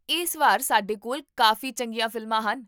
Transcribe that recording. ਇਸ ਵਾਰ ਸਾਡੇ ਕੋਲ ਕਾਫੀ ਚੰਗੀਆਂ ਫ਼ਿਲਮਾਂ ਹਨ